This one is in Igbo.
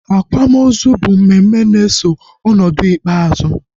Akwamozu bụ mmemme na-eso ọnọdụ ikpeazụ